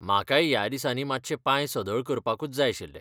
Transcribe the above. म्हाकाय ह्या दिसांनी मातशे पांय सदळ करपाकूच जाय आशिल्ले.